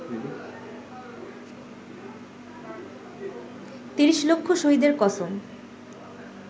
৩০ লক্ষ শহীদের কসম